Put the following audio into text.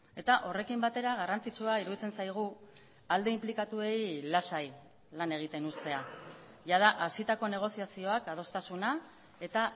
eta horrekin batera garrantzitsua iruditzen zaigu alde inplikatuei lasai lan egiten uztea jada hasitako negoziazioak adostasuna eta